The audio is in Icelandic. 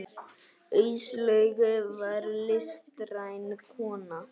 Áslaug var listræn kona.